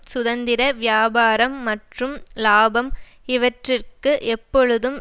சுதந்திர வியாபாரம் மற்றும் இலாபம் இவற்றிற்கு எப்பொழுதும்